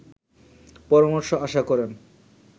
পরামর্শ আশা করেন